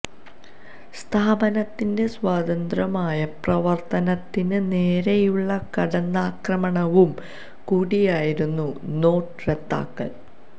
സ്ഥാപനത്തിന്റെ സ്വതന്ത്രമായ പ്രവര്ത്തനത്തിന് നേരെയുള്ള കടന്നാക്രമണവും കൂടിയായിരുന്നു നോട്ട് റദ്ദാക്കല്